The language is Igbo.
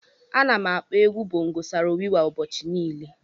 Ana m akpọ egwu bongo Saro Wiwa ụbọchị niile.